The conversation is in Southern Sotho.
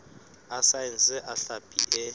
a saense a hlapi e